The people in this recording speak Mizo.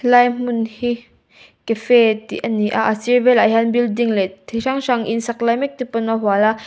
lai hmun hi cafe tih ani a a sir velah hian building leh ti hrang hrang in saklai mek te pawn a hual a.